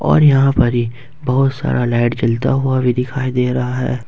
और यहा परी बहुत सारा लाइट जलता हुआ भी दिखाई दे रहा है।